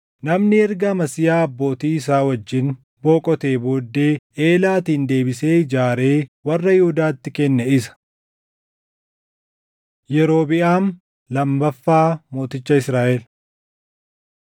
Namni erga Amasiyaa abbootii isaa wajjin boqotee booddee Eelaatin deebisee ijaaree warra Yihuudaatti kenne isa. Yerobiʼaam Lammaffaa Mooticha Israaʼel